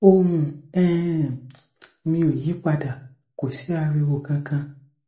ohùn um mi ò yí pa dà kò sí ariwo kankan